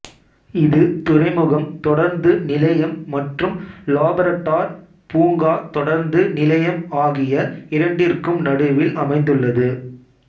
இது துறைமுகம் தொடருந்து நிலையம் மற்றும் லாப்ரடார் பூங்கா தொடருந்து நிலையம் ஆகிய இரண்டிற்கும் நடுவில் அமைந்துள்ளது